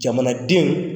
Jamanadenw